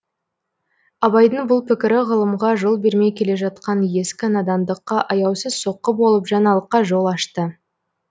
абайдың бұл пікірі ғылымға жол бермей келе жатқан ескі надандыққа аяусыз соққы болып жаңалыққа жол ашты